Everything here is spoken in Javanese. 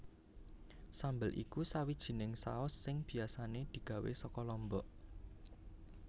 Sambel iku sawijining saus sing biasané digawé saka lombok